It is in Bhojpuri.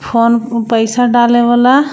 फोन उ-पैसा डालें वाला.